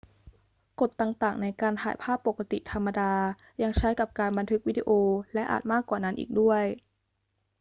กฎต่าง ๆ ในการถ่ายภาพปกติธรรมดายังใช้กับการบันทึกวิดีโอ และอาจมากกว่านั้นอีกด้วย